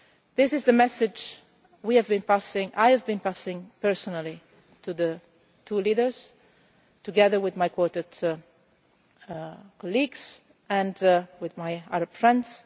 This is the message we have been passing on I have been passing on personally to the two leaders together with my Quartet colleagues and with my Arab